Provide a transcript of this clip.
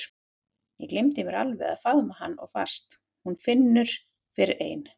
Ég gleymi mér alveg og faðma hana of fast: Hún finnur fyrir ein